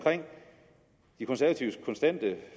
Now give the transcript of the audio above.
de konservatives konstante